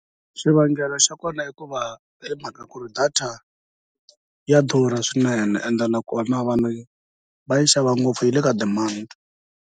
Xivangelo xa kona i ku va hi mhaka ku ri data ya durha swinene and nakona vanhu va yi xava ngopfu yi le ka demand.